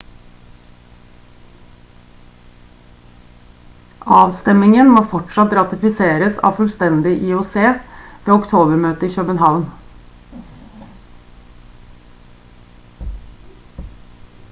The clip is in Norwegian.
avstemmingen må fortsatt ratifiseres av fullstendig ioc ved oktober-møtet i københavn